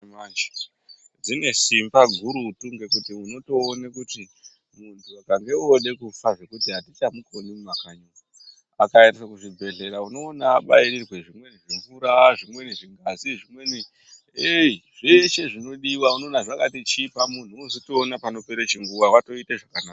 Mitombo dzechimanje-manje dzine simba gurutu ngekuti unotoone kuti muntu akange ode kufa zvekuti hatichamukoni mumakanyi umu. Akaenda kuzvibhedhleya unoona abairirwe zvimweni zvimvura, zvimweni zvimhazi zvimweni ei zveshe zvinodiva unoona zvakachipa unozotoona panopere chinguva vatoite zvakanaka.